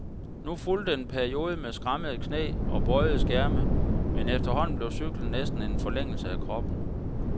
Nu fulgte en periode med skrammede knæ og bøjede skærme, men efterhånden blev cyklen næsten en forlængelse af kroppen.